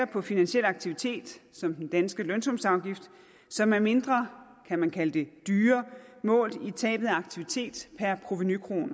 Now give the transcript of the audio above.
på finansiel aktivitet som den danske lønsumsafgift som er mindre kan man kalde det målt i tabet af aktivitet per provenukrone